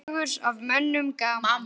Dregur af mönnum gaman.